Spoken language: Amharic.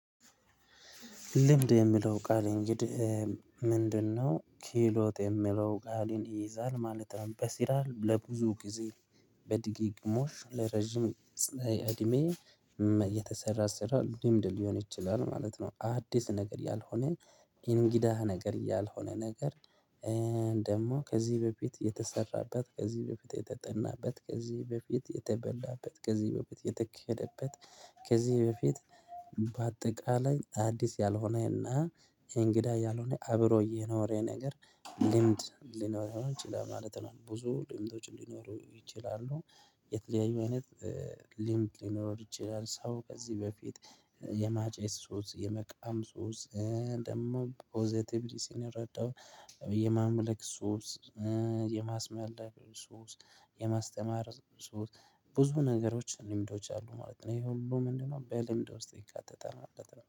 ልምድ የምለው ቃል እንግዲህ። ምንድነው ክህሎት የምለው ቃልን ይይዛል ማለት ነው። በስራ ለብዙ ጊዜ። በድግግሞሽ ለረጅም እድሜ የተሰራ ስራ ልምድ ሊሆን ይችላል ማለት ነው። አዲስ ነገር ያልሆነ እንግዳ ነገር ያልሆነ ነገር። ደግሞ ከዚህ በፊት የተሰራበት ከዚህ በፊት የተጠናበት ከዚህ በፊት የተበላበት ከዚህ በፊት የተከለበት ከዚህ በፊት በአጠቃላይ አዲስ ያልሆነ እና እንግዳ ያልሆነ አብሮ የኖረ ነገር ልምድ ሊኖረው ይችላል ማለት ነው። ብዙ ልምዶች ሊኖሩ ይችላሉ። የተለያዩ አይነት ልምድ ሊኖር ይችላል። ሰው ከዚህ በፊት የማጨስ ሱስ የመቃም ሱስ። ደግሞ ፖዘቲቭሊ ስንረዳው። የማምለክ ሱስ። የማስመላለክ ሱስ። የማስተማር ሱስ ብዙ ነገሮች ልምዶች አሉ ማለት ነው። ይሄ ሁሉ ምንድነው? በልምድ ውስጥ ይካተታል ማለት ነው